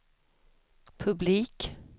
publik